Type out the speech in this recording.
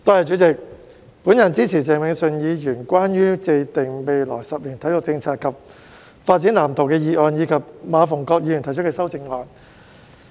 代理主席，我支持鄭泳舜議員關於"制訂未來十年體育政策及發展藍圖"的議案，以及馬逢國議員提出的修正案。